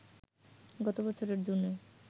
গত বছরের জুনে